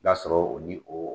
I b'a sɔrɔ o ni o